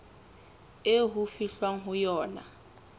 eo ho fihlwang ho yona